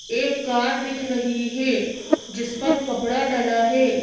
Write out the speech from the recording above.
एक कार दिख रही है जिस पर कपड़ा डला है।